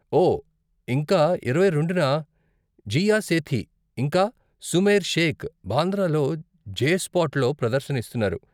ఓ, ఇంకా ఇరవై రెండున, జీయా సేథీ, ఇంకా సుమైర్ షేక్, బాంద్రాలో జే స్పాట్లో ప్రదర్శన ఇస్తున్నారు.